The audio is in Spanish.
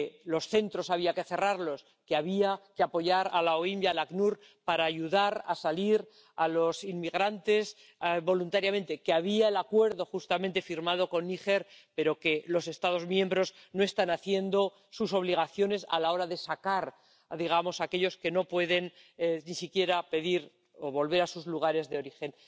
los centros había que cerrarlos, que había que apoyar a la OIM y al ACNUR para ayudar a salir a los inmigrantes voluntariamente, que estaba el acuerdo firmado con Níger pero que los Estados miembros no están cumpliendo con sus obligaciones a la hora de sacar a aquellos que no pueden ni siquiera pedir volver a sus lugares de origen.